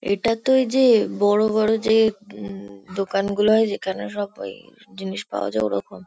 এটা তো এই যে বড়ো বড়ো এই যে উম দোকান গুলো হয় যেখানে সব ওই জিনিস পাওয়া যায় ওরকম।